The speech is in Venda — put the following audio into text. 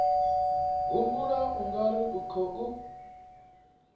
humbula u nga ri khou